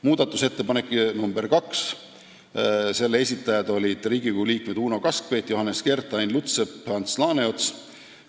Muudatusettepaneku nr 2 esitajad olid Riigikogu liikmed Uno Kaskpeit, Johannes Kert, Ain Lutsepp ja Ants Laaneots.